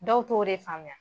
Dɔw t'o de faamuya.